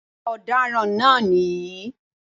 Ọ̀daràn náà nìyí